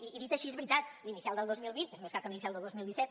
i dit així és veritat l’inicial del dos mil vint és més gran que l’inicial del dos mil disset